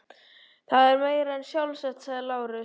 Það er meira en sjálfsagt, sagði Lárus.